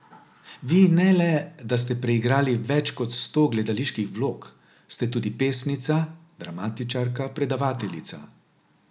Vi ne le, da ste preigrali več kot sto gledaliških vlog, ste tudi pesnica, dramatičarka, predavateljica.